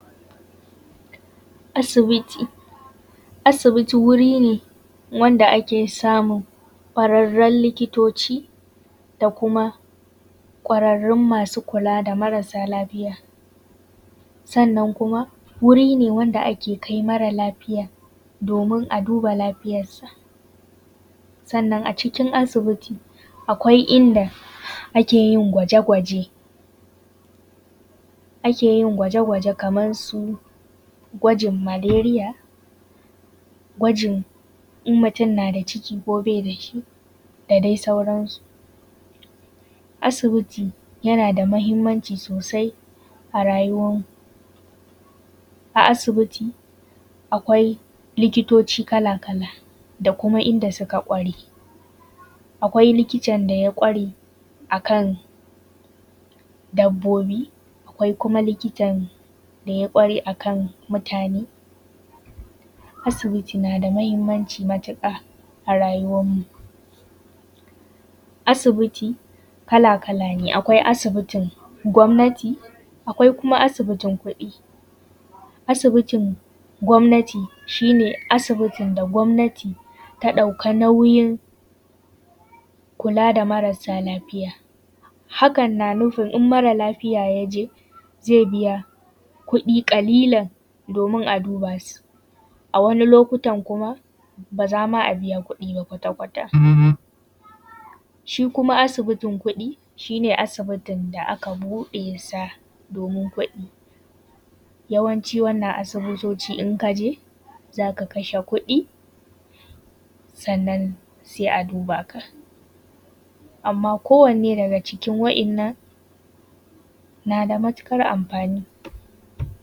Asibiti. Asibiti wuri ne wanda ake samun ƙwararrun likitoci da kuma ƙwararrun masu kula da marasa lafiya. Sannan kuma wuri ne wanda ake kai mara lafiya domin a duba lafiyarsa. Sannan a cikin asibiti akwai inda ake yin gwaje gwaje kamar su gwajin maleriya, gwajin in mutum na da ciki ko bai da shi, da dai sauran su. Asibiti yana da muhimmanci sosai a rayuwar mu. A asibiti akwai likitoci kala kala da kuma inda suka ƙware. Akwai likitan da ya ƙware a kan dabbobi, akwai kuma likitan da ya ƙware a kan mutane. Asibiti na da muhimmanci matuƙa a rayuwar mu. Asibiti kala kala ne. Akwai asibitin gwammnati akwai kuma asibitin kuɗi. Asibitin gwammnati shine asibitin da gwammnati ta ɗauki nauyin kulla da marasa lafiya hakan na nufin in mara lafiya ya je zai biya kuɗi ƙalilan domin a duba su. A wani lokutan kuma ba za ma a biya kuɗi ba kwata kwata. Shi kuma asibitin kuɗi shine asibitin da aka bude sa domin kuɗi. Yawancin wannan asibitoci in ka je za ka ka she kuɗi sannan sai a duba ka. Amma ko wanne daga cikin wa’innan na da matukar amfani